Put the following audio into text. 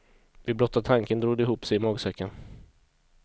Vid blotta tanken drog det ihop sig i magsäcken.